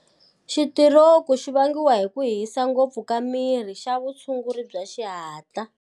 Xitiroku xo vangiwa hi ku hisa ngopfu ka miri i xa vutshunguri bya xihatla.